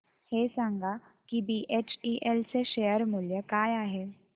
हे सांगा की बीएचईएल चे शेअर मूल्य काय आहे